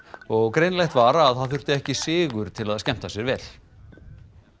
og greinilegt var að það þurfti ekki sigur til að skemmta sér vel